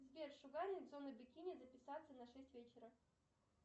сбер шугаринг зоны бикини записаться на шесть вечера